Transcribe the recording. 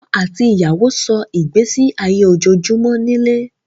Ọkọ̀ àti ìyàwó sọ́ ìgbésí ayé ojoojúmọ́ nílé